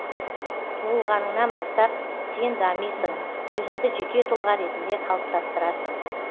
туылғаныңнан бастап сен дамисың өзіңді жеке тұлға ретінде қалыптастырасың